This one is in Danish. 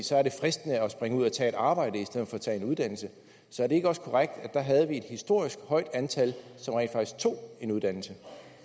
så er det fristende at tage arbejde i stedet for at tage en uddannelse så er det ikke også korrekt at der havde vi et historisk højt antal som rent faktisk tog en uddannelse